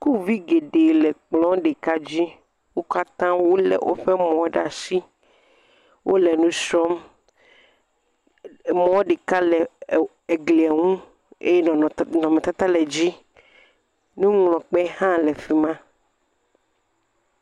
Sukuvi geɖe le kplɔ ɖeka dzi. Wo katã wolé woƒe mɔwo ɖe asi, wole nu srɔ̃m, kplɔ ɖeka eglie ŋu eye nɔnɔmetata le dzi, nuŋlɔkpe hã fi ma.